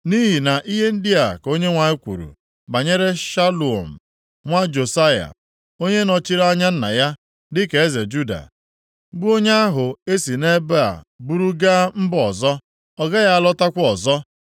Nʼihi na ihe ndị a ka Onyenwe anyị kwuru banyere Shalum nwa Josaya, onye nọchiri anya nna ya dịka eze Juda, bụ onye ahụ e si nʼebe a buru gaa mba ọzọ, “Ọ gaghị alọtakwa ọzọ.